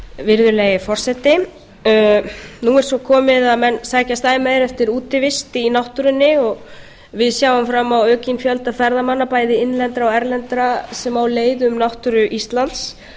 virðulegi forseti nú er svo komið að menn sækjast æ meir eftir útivist í náttúrunni og við sjáum fram á aukinn fjölda ferðamanna bæði innlendra og erlendra sem á leið um náttúru íslands